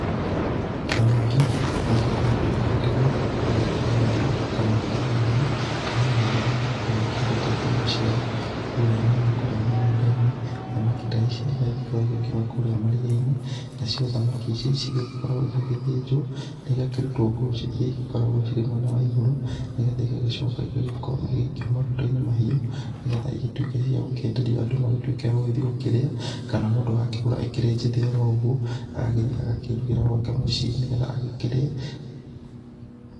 Thamaki nĩ igĩkoretwo igĩgĩtegwo kũrĩa njũi-inĩ kana ndemu-inĩ kana o na andũ arĩa magĩkagwo makĩenjete ndemu ciao kũrĩa nini kũrĩa mĩgũnda-inĩ, thamaki ta ici no igĩkoragwo igĩkiuma kũrĩa maria-inĩ. Nacio thamaki ta ici cigĩkoragwo igĩgĩthĩnjwo na igagĩkorwo igĩkĩrutwo nguo iria igĩkoragwo irĩ mwena wa igũrũ, nĩgetha igagĩcoka igagĩkorwo igĩgĩikio maguta-inĩ mahiũ nĩgetha igĩtuĩke cia gũkĩenderio andũ magĩtuĩke a gũgĩthiĩ gũkĩrĩa, kana mũndũ agakĩgũra ĩkĩrĩ njĩthĩ o ro ũguo, agagĩthiĩ agakĩrugĩra gwake mũciĩ nĩ getha agĩkĩrĩe.